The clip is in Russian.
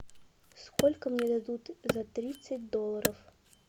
сколько мне дадут за тридцать долларов